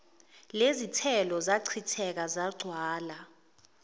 lezithelo zachitheka zagcwala